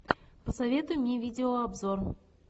посоветуй мне видеообзор